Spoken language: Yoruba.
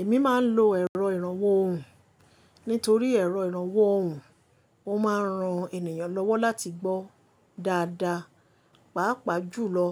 Èmi máa ń lo èrọ ìrànwọ́ ohùn. Nítorí èrọ ìrànwọ́ ohùn, ó máa ń ran ènìyàn lọ́wọ́ láti gbọ́ dáadáa, pàápàá jùlọ